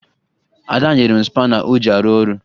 Ada nyere m spana o ji arụ ọrụ